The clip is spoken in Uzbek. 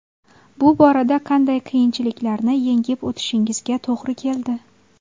Bu borada qanday qiyinchiliklarni yengib o‘tishingizga to‘g‘ri keldi?